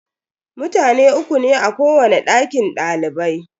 Mutane uku ne a kowani dakin dalibai.